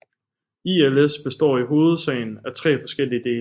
ILS består i hovedsagen af tre forskellige dele